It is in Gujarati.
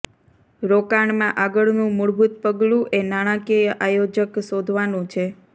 રોકાણમાં આગળનું મૂળભૂત પગલું એ નાણાકીય આયોજક શોધવાનું છે